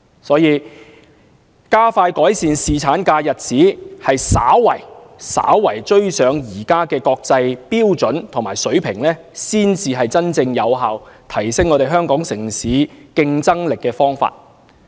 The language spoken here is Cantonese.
所以，加快改善侍產假日子，稍為追上現時的國際標準和水平，才是真正有效提升香港城市競爭力的方法。